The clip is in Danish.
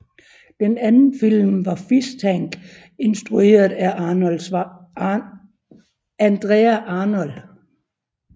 Den anden film var Fish Tank instrueret af Andrea Arnold